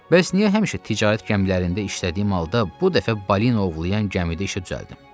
Bəs niyə həmişə ticarət gəmilərində işlədiyim halda bu dəfə balina ovlayan gəmidə işə düzəldim?